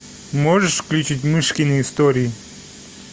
можешь включить мышкины истории